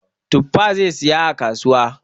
Tuffa zai saya a kasuwa.